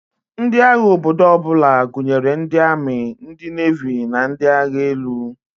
Ndi agha obodo ọbụla gụnyere ndi ami, ndi nevi na ndi agha elu.